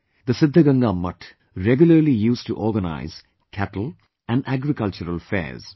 The Siddhganga Mutt regularily used to organise cattle and agricultural fairs